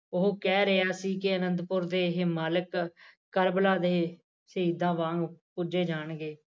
ਉਹ ਕਹਿ ਰਿਹਾ ਸੀ ਕਿ ਅਨੰਦਪੁਰ ਦੇ ਇਹ ਮਾਲਕ ਸਹੀਦਾ ਵਾਂਗ ਪੁੱਜੇ ਜਾਣਗੇ